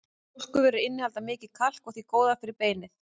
Mjólkurvörur innihalda mikið kalk og því góðar fyrir beinin.